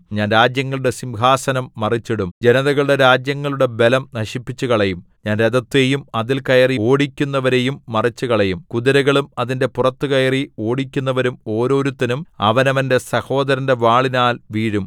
ഞാൻ രാജ്യങ്ങളുടെ സിംഹാസനം മറിച്ചിടും ജനതകളുടെ രാജ്യങ്ങളുടെ ബലം നശിപ്പിച്ചുകളയും ഞാൻ രഥത്തെയും അതിൽ കയറി ഓടിക്കുന്നവരെയും മറിച്ചുകളയും കുതിരകളും അതിന്റെ പുറത്ത് കയറി ഓടിക്കുന്നവരും ഓരോരുത്തനും അവനവന്റെ സഹോദരന്റെ വാളിനാൽ വീഴും